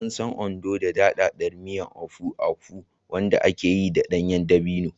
An san Ondo da daɗaɗɗen miyar Ofe Akwu, wanda aka yi da ɗanyen dabino.